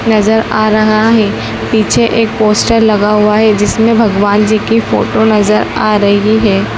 नज़र आ रहा है पीछे एक पोस्टर लगा हुआ है जिसमें भगवान जी की फोटो नज़र आ रही है।